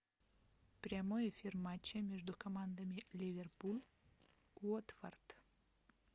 прямой эфир матча между командами ливерпуль уотфорд